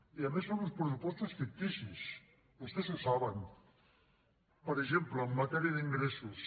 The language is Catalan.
i a més són uns pressupostos ficticis vostès ho saben per exemple en matèria d’ingressos